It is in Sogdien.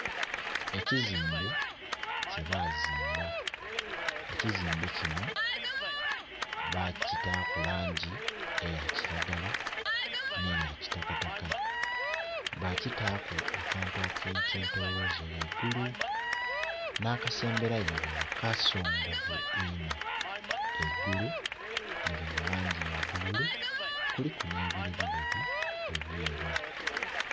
Ekizimbe kye bazimba, ekizimbe kino baakitaku langi eya kiragala, neya kitakataka, bakitaaku akantu ak'ekyetooloze ghaigulu n'akasemberayo irala kasongovu inho, eigulu liri mu langi ya bululu, kuliku n'ebirerireri ebyeru.